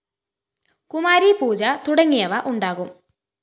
കുമാരീ പൂജ തുടങ്ങിയവ ഉണ്ടാകും